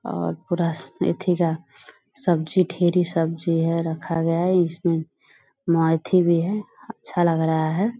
और पूरा एथी का सब्जी ढ़ेरी सब्जी है रखा गया है इसमें मेथी भी है अच्छा लग रहा है ।